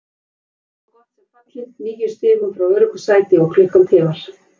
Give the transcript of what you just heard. Liðið er svo gott sem fallið, níu stigum frá öruggu sæti og klukkan tifar.